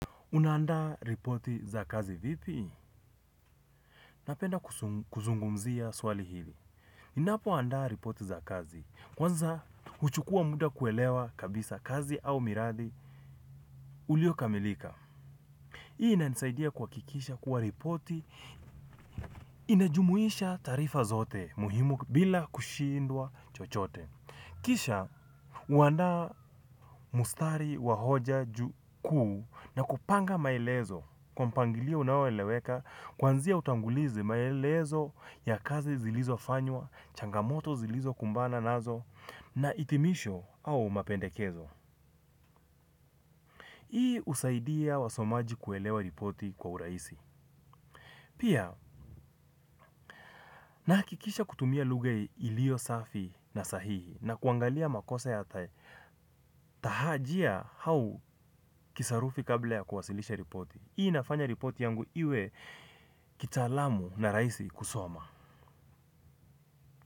Unaandaa ripoti za kazi vipi? Napenda kuzungumzia swali hili. Ninapoandaa ripoti za kazi. Kwanza, huchukua muda kuelewa kabisa kazi au miradi uliokamilika. Hii inanisaidia kuhakikisha kuwa ripoti. Inajumuisha taarifa zote muhimu bila kushindwa chochote. Kisha, huanda mstari wa hoja kuu na kupanga maelezo. Kwa mpangilio unaoeleweka, kuanzia utangulizi maelezo ya kazi zilizofanywa, changamoto zilizo kumbana nazo, na hitimisho au mapendekezo. Hii husaidia wasomaji kuelewa ripoti kwa urahisi. Pia, nahakikisha kutumia lugha iliyo safi na sahihi na kuangalia makosa ya, tahajia au kisarufi kabla ya kuwasilisha ripoti. Hii inafanya ripoti yangu iwe kitaalamu na rahisi kusoma.